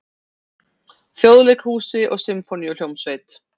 Þjóðleikhúsi og Sinfóníuhljómsveit.